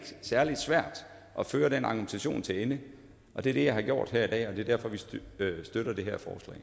særlig svært at føre den argumentation til ende og det er det jeg har gjort her i dag og det er derfor vi støtter støtter det